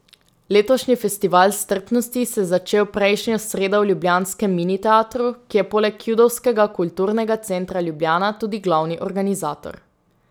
Letošnji festival strpnosti se je začel prejšnjo sredo v ljubljanskem Mini Teatru, ki je poleg Judovskega kulturnega centra Ljubljana tudi glavni organizator.